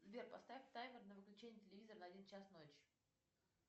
сбер поставь таймер на выключение телевизора на один час ночи